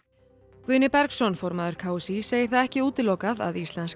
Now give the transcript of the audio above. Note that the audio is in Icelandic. Guðni Bergsson formaður k s í segir það ekki útilokað að